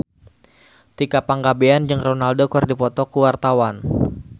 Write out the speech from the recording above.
Tika Pangabean jeung Ronaldo keur dipoto ku wartawan